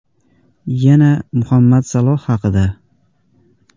Yana Muhammad Saloh haqida.